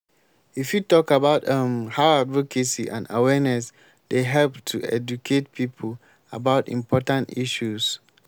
you fit talk about um how advocacy and awareness dey help to educate people about important issues.